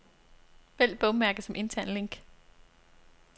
Vælg bogmærke som intern link.